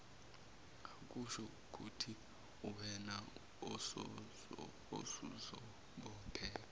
akushoukuthi uwena osuzobopheka